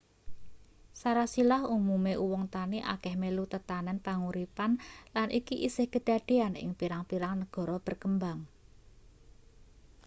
sarasilah umume uwong tani akeh melu tetanen panguripan lan iki isih kedadeyan ing pirang-pirang negara berkembang